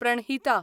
Pranhita